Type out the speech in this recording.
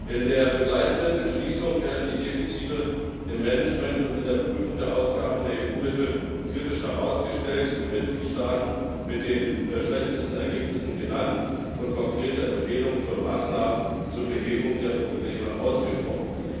In der begleitenden Entschließung werden die Defizite im Management und in der Prüfung der Ausgaben der EU Mittel kritisch herausgestellt, die Mitgliedstaaten mit den schlechtesten Ergebnissen genannt und konkrete Empfehlungen für Maßnahmen zur Behebung der Probleme ausgesprochen.